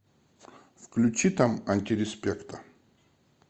включи там антиреспекта